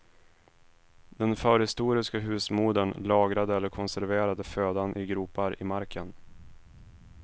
Den förhistoriska husmodern lagrade eller konserverade födan i gropar i marken.